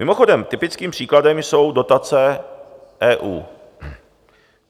Mimochodem, typickým příkladem jsou dotace EU.